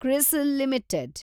CRISIL limited